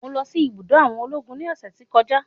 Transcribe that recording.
Mo lọ sí ibùdó àwọn ológun ní ọ̀sẹ̀ tí kọjá.